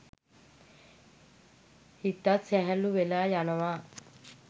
හිතත් සැහැල්ලු වෙලා යනවා.